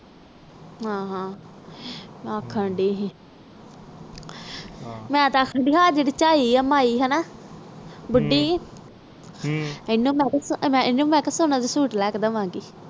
ਹਾਂ ਹਾਂ ਆਖਣ ਦੇ ਸੀ ਮੈਂ ਤਾ ਆਖਣ ਦੈ ਸੀ ਜਿਹੜੇ ਆਹ ਚਾਇ ਜੀ ਬੁੱਢੀ ਜੀ ਇਹਨੂੰ ਵੀ ਇਕ ਸੋਹਣਾ ਜਾ ਸੁਤ ਲੈ ਕ ਦਾਵਾ ਗਈ